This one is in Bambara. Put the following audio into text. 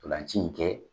Ntolan ci in kɛ